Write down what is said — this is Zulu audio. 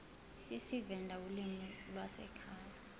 isivenda ulimi lwasekhaya